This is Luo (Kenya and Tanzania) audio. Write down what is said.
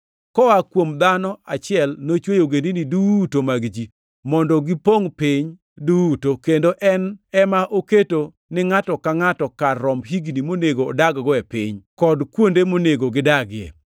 Koa kuom dhano achiel, nochweyo ogendini duto mag ji, mondo gipongʼ piny duto, kendo en ema oketo ni ngʼato ka ngʼato kar romb higni monego odag-go e piny, kod kuonde monego gidagie.